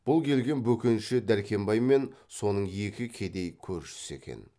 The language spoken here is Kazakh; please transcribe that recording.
бұл келген бөкенші дәркембай мен соның екі кедей көршісі екен